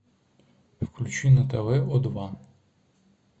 включи на тв о два